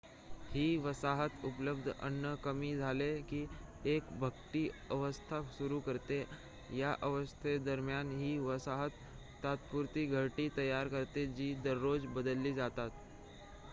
ही वसाहत उपलब्ध अन्न कमी झाले की एक भटकी अवस्था सुरु करते या अवस्थेदरम्यान ही वसाहत तात्पुरती घरटी तयार करते जी दररोज बदलली जातात